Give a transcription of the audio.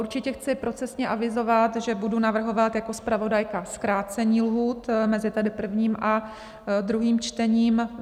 Určitě chci procesně avizovat, že budu navrhovat jako zpravodajka zkrácení lhůt mezi tedy prvním a druhým čtením.